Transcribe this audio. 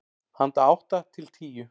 Handa átta til tíu